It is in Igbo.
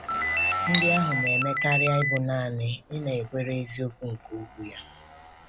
Ndị ahụ na-eme karịa ịbụ naanị ịnakwere eziokwu nke Okwu Ya.